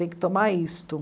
Tem que tomar isto.